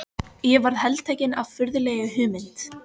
Ég varð heltekinn af furðulegri hugmynd.